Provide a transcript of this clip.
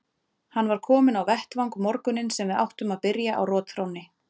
Hann var kominn á vettvang morguninn sem við áttum að byrja á rotþrónni.